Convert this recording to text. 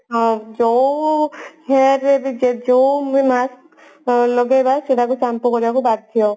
ହଁ ଯୋଉ hair ବି ଯୋଉ mask ଲଗେଇବା shampoo କରିବାକୁ ବାଧ୍ୟ